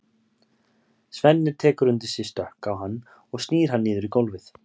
Svenni tekur undir sig stökk á hann og snýr hann niður í gólfið.